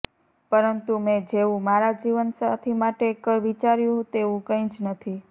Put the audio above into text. પરંતુ મેં જેવું મારા જીવનસાથી માટે વિચાર્યું હતું તેવું કંઇ જ નથી